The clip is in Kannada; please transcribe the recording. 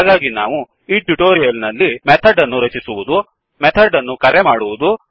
ಹಾಗಾಗಿ ನಾವು ಈ ಟ್ಯುಟೊರಿಯಲ್ ನಲ್ಲಿ ಮೆಥಡ್ ಅನ್ನು ರಚಿಸುವುದು ಮೆಥಡ್ ಅನ್ನು ಕರೆ ಮಾಡುವುದು